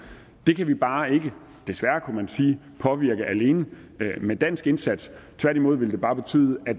det kan vi bare ikke desværre kunne man sige påvirke alene med dansk indsats tværtimod ville det bare betyde at